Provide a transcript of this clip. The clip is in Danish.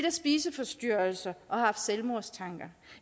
af spiseforstyrrelse og haft selvmordstanker